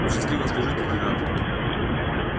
ну счастливо служить лейтенант